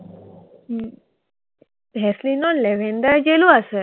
ভেচলিনৰ lavender jelly আছে।